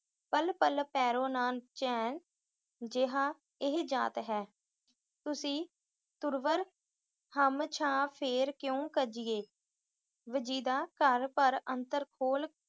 ਪਲ ਪਲ ਪਰੈ ਨ ਚੈਨ, ਜੀਅ ਇਹ ਜਾਤ ਹੈ। ਤੁਸੀਂ ਤਰੁਵਰ ਹਮ ਛਾਂਹ, ਫੇਰ ਕਿਉਂ ਕੀਜੀਏ। ਵਜੀਦਾ ਘਰ ਪਰ ਅੰਤਰ ਖੋਲ